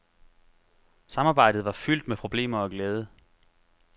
Samarbejdet var fyldt med problemer og glæde.